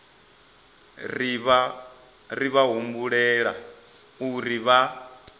ri vha humbela uri vha